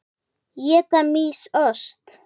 Éta mýs ost?